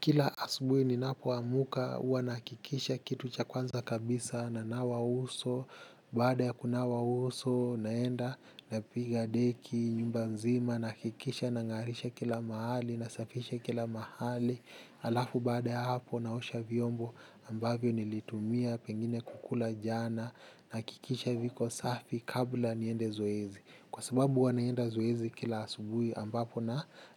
Kila asubuhi ninapoamka huwa nahakikisha kitu cha kwanza kabisa nanawa uso. Baada ya kunawa uso naenda napiga deki nyumba nzima nahakikisha nangarisha kila mahali, nasafisha kila mahali. Halafu baada ya hapo naosha vyombo ambavyo nilitumia pengine kukula jana nahakikisha viko safi kabla niende zoezi kwa sababu huwa naenda zoezi kila asubuhi ambapo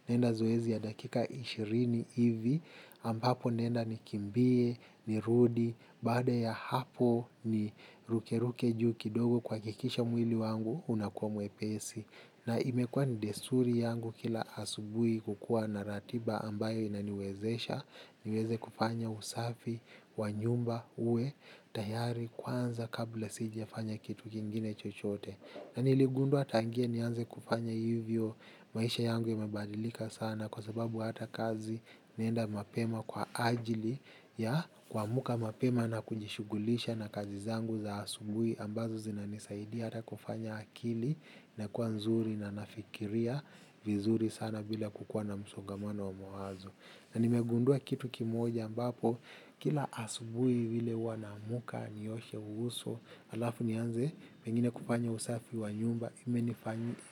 naenda zoezi ya dakika ishirini hivi ampapo naenda nikimbie, ni rudi baada ya hapo ni ruke ruke juu kidogo kuhakikisha mwili wangu unakuwa mwepesi na imekuwa ni desturi yangu kila asubuhi kukuwa na ratiba ambayo inaniwezesha niweze kufanya usafi wa nyumba uwe, tayari kwanza kabla sijafanya kitu kingine chochote na niligundua tangia nianze kufanya hivyo maisha yangu yamebadilika sana kwa sababu hata kazi naenda mapema kwa ajili ya kuamka mapema na kujishughulisha na kazi zangu za asubuhi ambazo zinanisaidia hata kufanya akili inakuwa nzuri na nafikiria vizuri sana bila kukuwa na msongamano wa mawazo. Na nimegundua kitu kimoja ambapo kila asubuhi vile huwa naamka nioshe uso halafu nianze pengine kufanya usafi wa nyumba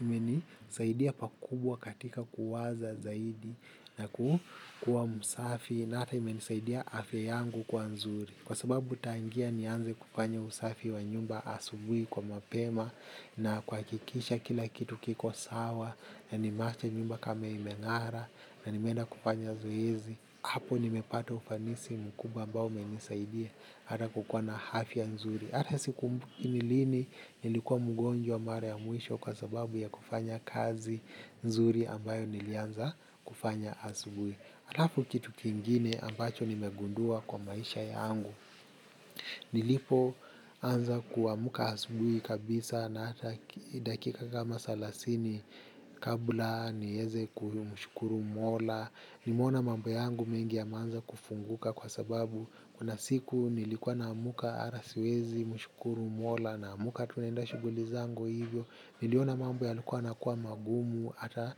imenisaidia pakubwa katika kuwaza zaidi na kuwa msafi na hata imenisaidia afya yangu kwa nzuri. Kwa sababu tangia nianze kufanya usafi wa nyumba asubuhi kwa mapema na kuhakikisha kila kitu kiko sawa na nimeacha nyumba kama imengara na nimeenda kufanya zoezi. Hapo nimepata ufanisi mkubwa ambao umenisaidia hata kukuwa na afya nzuri. Hata sikumbuki ni lini nilikuwa mgonjwa mara ya mwisho kwa sababu ya kufanya kazi nzuri ambayo nilianza kufanya asubuhi. Halafu kitu kingine ambacho nimegundua kwa maisha yangu nilipoanza kuamka asubuhi kabisa na dakika kama thelathini kabla niweze kumshukuru mola nimeona mambo yangu mengi yameanza kufunguka kwa sababu kuna siku nilikuwa naamka hata siwezi mshukuru mola naamka tu naenda shughuli zangu hivyo niliona mambo yalikuwa yanakuwa magumu hata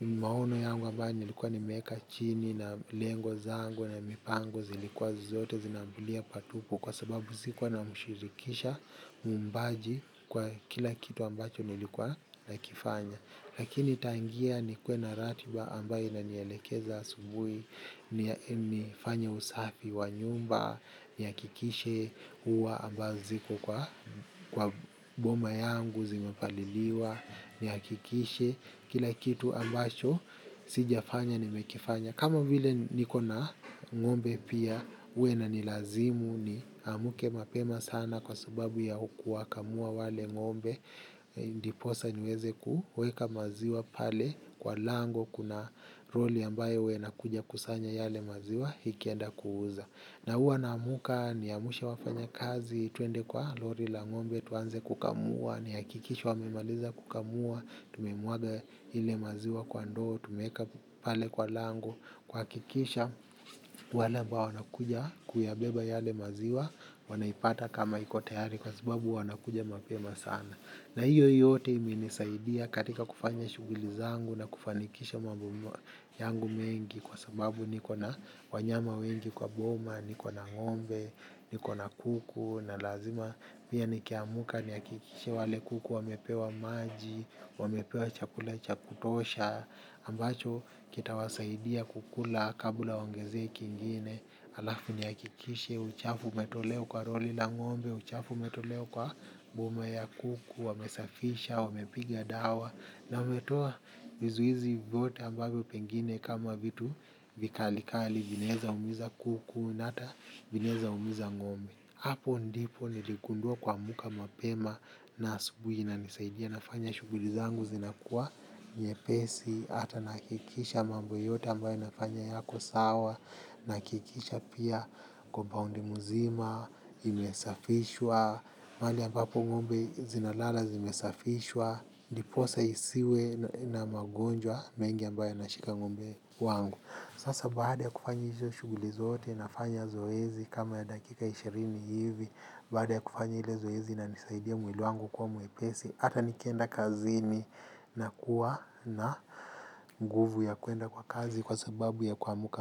maono yangu ambayo nilikuwa nimeweka chini na lengo zangu na mipango zilikuwa zote zinaambulia patupu kwa sababu sikuwa namshirikisha muumbaji kwa kila kitu ambacho nilikuwa nakifanya lakini tangia nikuwe na ratiba ambayo inanielekeza asubuhi ni fanye usafi wa nyumba nihakikishe huwa ambazo ziko kwa kwa boma yangu zimepaliliwa nihakikishe kila kitu ambacho sijafanya nimekifanya kama vile niko na ngombe pia huwa inanilazimu niamke mapema sana kwa sababu ya kuwakamua wale ngombe ndiposa niweze kuweka maziwa pale kwa lango kuna lori ambaye huwa inakuja kukusanya yale maziwa ikienda kuuza na huwa naamka niamshe wafanyakazi twende kwa lori la ngombe tuanze kukamua nihakikishe wamemaliza kukamua, tumemwaga ile maziwa kwa ndoo, tumeweka pale kwa lango, kuhakikisha wale ambao wanakuja kuyabeba yale maziwa wanaipata kama iko tayari kwa sababu wanakuja mapema sana. Na hiyo yote imenisaidia katika kufanya shughuli zangu na kufanikisha mambo yangu mengi kwa sababu niko na wanyama wengi kwa boma, niko na ngombe, niko na kuku na lazima pia nikiamka nihakikishe wale kuku wamepewa maji wamepewa chakula cha kutosha ambacho kitawasaidia kukula kabla waongezee kingine. Halafu nihakikishe uchafu umetolewa kwa roli na ngombe uchafu umetolewa kwa boma ya kuku wamesafisha, wamepiga dawa na wametoa vizuizi vyote ambavyo pengine kama vitu vikalikali vinaweza umiza kuku na hata vinaweza umiza ngombe. Hapo ndipo niligundua kuamka mapema na asubuhi inanisaidia nafanya shughuli zangu zinakuwa nyepesi, hata nahakikisha mambo yote ambayo nafanya yako sawa, nahakikisha pia compound mzima imesafishwa, mahali ambapo ngombe zinalala zimesafishwa, ndiposa isiwe na magonjwa mengi ambayo yanashika ngombe wangu. Sasa baada ya kufanya hizo shughuli zote nafanya zoezi kama ya dakika ishirini hivi baada ya kufanya ile zoezi inanisaidia mwili wangu kuwa mwepesi hata nikienda kazini nakuwa na nguvu ya kwenda kwa kazi kwa sababu ya kuamka.